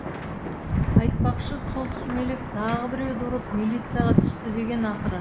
айтпақшы сол сүмелек тағы біреуді ұрып милицияға түсті дегені ақыры